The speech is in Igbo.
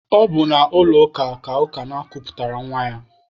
Ọ bụ n'ụlọ ụka Ukanna kuputara nwa ya.